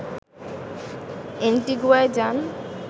এন্টিগুয়ায় যান